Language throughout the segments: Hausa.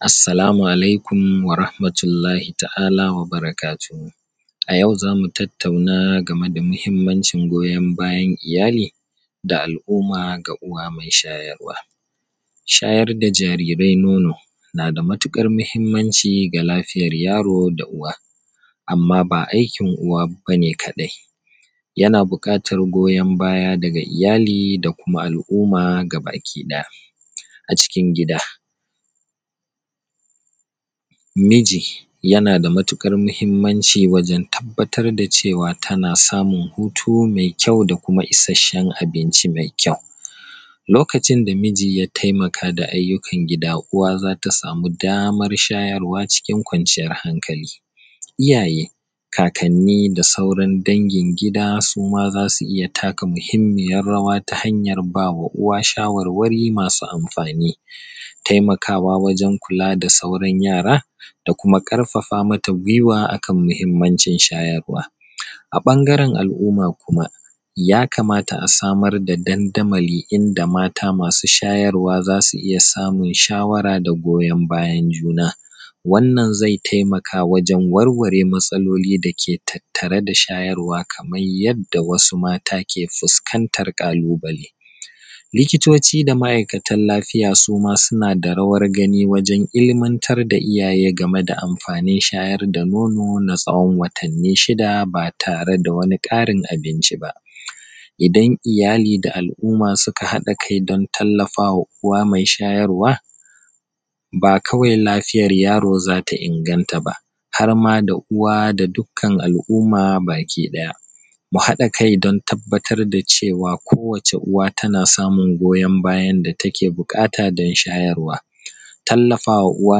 Assalamu alaikum warahmatullahi ta'aala wa barakatuhu. A yau za mu tattauna game da muhimmancin goyon bayan iyali ga al'umma da uwa mai shayarwa. Shayar da jariirai nono na da matuƙar mahimmanci ga lafiyar yaro da uwa, amma baa aikin uwa ba ne kaɗai, yanaa buƙatar goyon baya daga iyali da kuma al'umma gabaki ɗaya acikin gida. Miji yana da matuƙar mahimmanci wajen tabbatar da ceewa tana samun hutu mai kʲau da kuma isasshen abinci mai kʲau, lokacin da miji ya taimaka da ayyukan gida uwa za ta samu damar shayarwa cikin kwanciyar hankali, iyayee kaakanni da sauran dangin gida su ma za su iya taka muhimmiyar rawa ta hanyar baa wa uwa shawarwari masu amfaani, taimakaawa wajen kulaa da sauran yaara da kuma ƙarfafa mata guiwa akan mahimmancin shayarwa a ɓangaren al'umma, kuma yakamata a samar da dandamalii inda maata masu shayarwa za su iya samun shawara da goyon bayan juna. Wannan zai taimaka wajen warware matsaloli da ke tattare da shayarwa kamai yadda wasu maata ke fuskantar ƙalubalee. Likitoci da ma'aikatan lafiya su ma suna da rawar gani waǳen ilimantar da iyaye game da amfaanin shayar da nono na tsawon watanni shida baa taree da wani ƙarin abinci ba. Idan iyali da al'umma suka haɗa kai don tallafa wa uwa mai shayarwa, baa kawai lafiyar yaroo za ta inganta ba, har ma da uwa da dukkan al'umma bakii ɗaya. Mu haɗa kai don tabbatar da cewa kowace uwa tana samun goyon bayan da take buƙata don shayarwa, tallafa wa uwa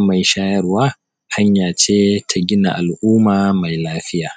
mai shayarwa hanya ce ta gina al'umma mai lafiya.